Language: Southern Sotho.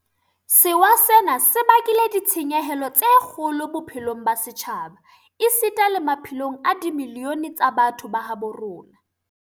Sewa sena se bakile ditshenyehelo tse kgolo bophelong ba setjhaba esita le maphelong a dimilione tsa batho ba habo rona.